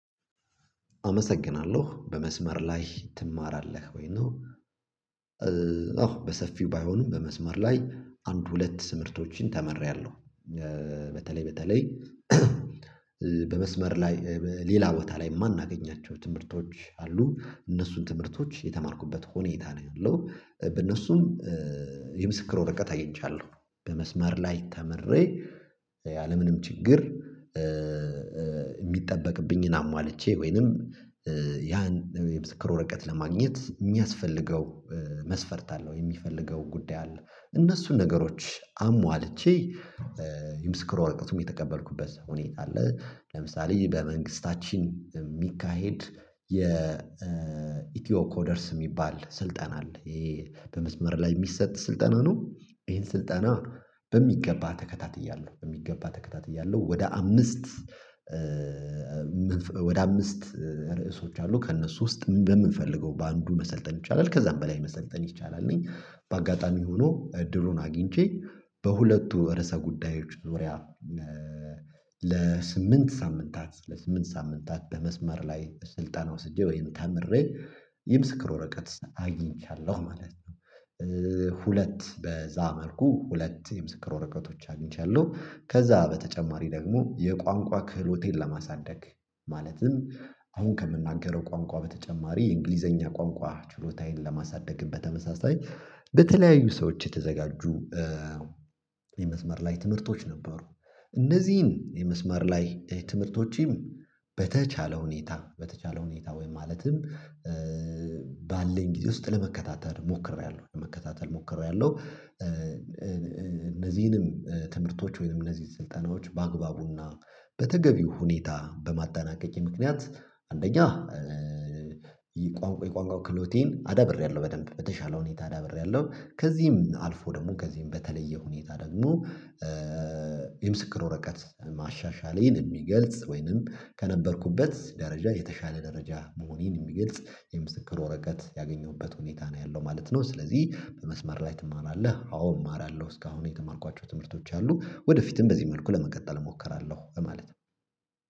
አመሰግናለሁ በመስመር ላይ ትማራለህ ወይ ነው? አዎ በሰፊው ባይሆንም በመስመር ላይ አንድ ሁለት ምርቶችን ተመርያለሁ። በተለይ በተለይ በመስመር ላይ ሌላ ቦታ ላይ የማናገኛቸው ትምህርቶች አሉ እነሱን ትምህርቶች የተማርኩበት ሁኔታ ነው ያለው። በእነሱም በእነሱም የምስክር ወረቀት አየቻለሁ በመስመር ላይ ተምሬ ያለምንም ችግር። የሚጠበቅብኝን አሟልቼ ወይንም ያን የብስክር ወረቀት ለማግኘት የሚያስፈልገው መስፈርት አለው የሚፈልገው ጉዳይ አለ እነሱን ነገሮች አሟልቼ ይምስክር ወረቀትም የተቀበልኩበት ሁኔታ አለ። ለምሳሌ በመንግስታችን የሚካሄድ የኢትዮ ኮደርስ የሚባል ስልጠና አለ ይሄ በመስመር ላይ የሚሰጥ ስልጠና ነው። ይሄን ስልጠና በሚገባ ተከታትያለሁ በሚገባ ተከታትያለሁ ወደ አምስት ወደ አምስት ርዕሶች አሉ ከእነሱ ውስጥ በምንፈልገው በአንዱ መሰልጠን ይቻላል ከዛም በላይ መሰልጠን ይቻላል ነኝ። በአጋጣሚ ሆኖ ድሩን አግኝቼ በሁለቱ ወር ጉዳዮች ዙሪያ ለሳምንት ሳምንታት ለስምንት ሳምንታት በመስመር ላይ ስልጣን ወስጄ ወይም ተምሬ የምስክር ወረቀት አግኝቻለሁ ማለት ነው። ሁለት በዛ መልኩ ሁለት የምስክር ወረቀቶች አግኝቻለሁ። ከዛ በተጨማሪ ደግሞ የቋንቋ ክህሎቴን ለማሳደግ ማለትም አሁን ከምናገረው ቋንቋ በተጨማሪ የእንግሊዘኛ ቋንቋ ችሎታዬን ለማሳደግም በተመሳሳይ በተለያዩ ሰዎች የተዘጋጁ የመዝመር ላይ ትምህርቶች ነበሩ። እነዚህን የመስመር ላይ ትምህርቶችም በተቻለ ሁኔታ በተቻለ ሁኔታ ወይም ማለትም ባለን ጊዜ ውስጥ ለመከታተል ሞክሬያለሁ ለመከታተል ሞክሮያለሁ። እነዚህንም ትምህርቶች ወይንም እነዚህ ስልጠናዎች በአግባቡና በተገቢው ሁኔታ በማጣናቀቅ ምክንያት አንደኛ የቋንቋው ክህሎቴን አዳብሬያለሁ በደንብ በተሻለ ሁኔታ ዳብሬያለሁ። ከዚህም አልፎ ደግሞ ከዚህም በተለየ ሁኔታ ደግሞ የምስክር ወረቀት ማሻሻሌን የሚገልጽ ወይንም ከነበርኩበት ደረጃ የተሻለ ደረጃ መሆኔን የሚግል የምስክር ወረቀት ያገኘሁበት ሁኔታ ነው ያለው ማለት ነው። ስለዚህ በመስመር ላይ ትማራለህ? አዎ እማራለሁ እስካሁን የተማርኳቸው ትምህርቶች አሉ ወደፊትም በዚህ መልኩ ለመቀጠል እሞክራለሁ ማለት ነው።